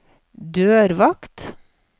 dørvakt